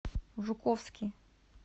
жуковский